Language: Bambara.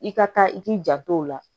I ka taa i k'i janto o la